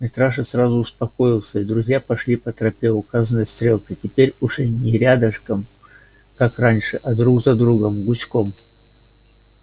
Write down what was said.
митраша сразу успокоился и друзья пошли по тропе указанной стрелкой теперь уже не рядышком как раньше а друг за другом гуськом